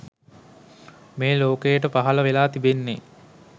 මේ ලෝකයට පහළ වෙලා තිබෙන්නේ.